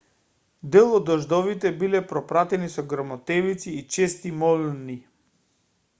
дел од дождовите биле пропратени со грмотевици и чести молњи